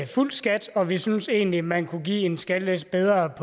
fuld skat og vi synes egentlig at man kunne give en skattelettelse bedre